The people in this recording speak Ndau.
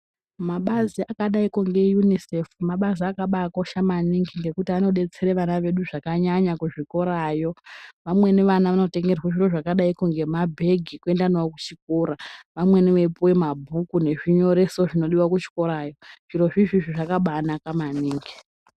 Mabazi akadaiko ngeUNICEF mabazi akaosha maningi ngekuti anodetsera vana vedu zvkanyanya kuzvikorayo vamweni vana vanotengerwa zvakadaiko nemabhegi ekuenda nawo kuchikora vamweni veipuwa mabhuku nezvinyoreso zvinodiwa kuchikorayo zvirozvo zvakabainaka maningi.